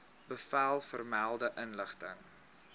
bevel vermelde inrigting